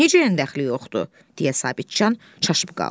Necə dəxli yoxdur, deyə Sabitcan çaşıb qaldı.